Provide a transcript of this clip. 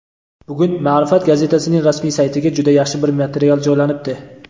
Bugun "Ma’rifat" gazetasining rasmiy saytiga juda yaxshi bir material joylanibdi.